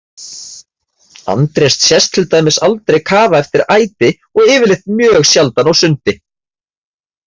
Andrés sést til dæmis aldrei kafa eftir æti og yfirleitt mjög sjaldan á sundi.